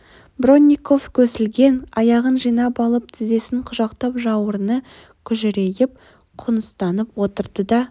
бронников көсілген аяғын жинап алып тізесін құшақтап жауырыны күжірейіп құныстанып отырды да